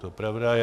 To pravda je.